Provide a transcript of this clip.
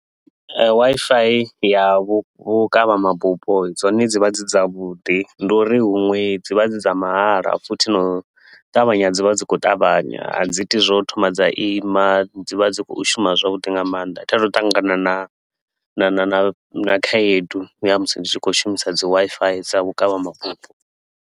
Wi-Fi ya vhu vhukavha mabufho dzone dzi vha dzi dzavhuḓi, ndi uri huṅwe dzi vha dzi dza mahala futhi na u ṱavhanya dzi vha dzi khou ṱavhanya. A dzi iti zwa u thoma dza ima, dzi vha dzi khou shuma zwavhuḓi nga maanḓa. A thi a thu u ṱangana na na khaedu ya musi ndi tshi khou shumisa dzi Wi-Fi dza vhukavha mabufho.